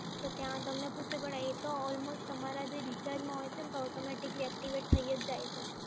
તો ત્યાં તમને પૂછવું પડે એ તો almost તમારા જે રિચાર્જમાં હોય છે ને તો automatically એક્ટિવેટ થય જ જાય છે.